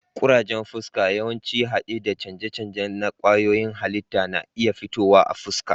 Kurajen fuska, yawanci hade da canje-canje na kwayoyin halitta, na iya fitowa a fuska.